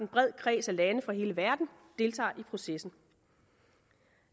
bred kreds af lande fra hele verden deltager i processen